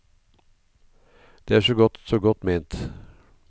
Det er så godt, så godt ment.